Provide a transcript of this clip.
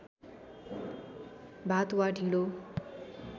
भात वा ढिँडो